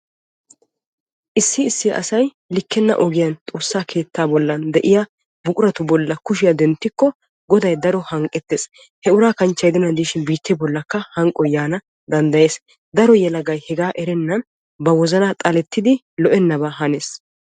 Issi issi asay likkenna ogiyaa xoossaa keettaa giddon de'iyaa buquratu bollan kushiyaa denttikko goday daro hanqqettees. he uraa kanchche gidennan diishin biittee bollikka hanqqoy yaanawu danddayees. daro yelagay hegaa erennan ba wozanaa xalettidi lo"ennabaa hanees.